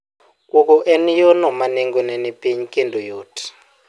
Kuogo en yo no ma nengo ne ni piny kendo yot